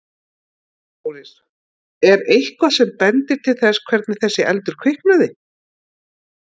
Þórir: Er eitthvað sem bendir til þess hvernig þessi eldur kviknaði?